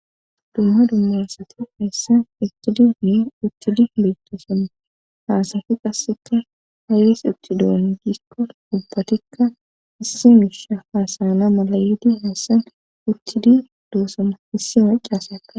Dumma dummaassati hayssan eqqidi ni uttidi meettoson haasafi qasseka haylis uttidoon gisko ubbatikka issi miisha haasana mala yidi hayssan uttidi doossama issi macaaseka.